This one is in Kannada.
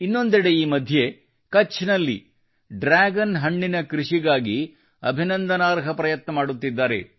ಇನ್ನೊಂದೆಡೆ ಈ ಮಧ್ಯೆ ಕಛ್ ನಲ್ಲಿ ಡ್ರ್ಯಾಗನ್ ಹಣ್ಣಿನ ಕೃಷಿಗಾಗಿ ಅಭಿನಂದನಾರ್ಹ ಪ್ರಯತ್ನ ಮಾಡುತ್ತಿದ್ದಾರೆ